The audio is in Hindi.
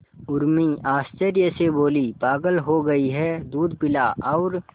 उर्मी आश्चर्य से बोली पागल हो गई है दूध पिला और